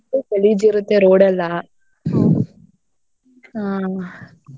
ಎಷ್ಟು ಗಲೀಜಿರತ್ತೆ road ಎಲ್ಲಾ. ಹ್ಮ್.